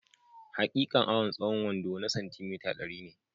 Hakikan awan tsahon wando na santi mita, dari ne